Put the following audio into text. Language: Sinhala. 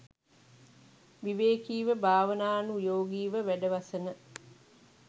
විවේකීව භාවනානුයෝගීව වැඩවසන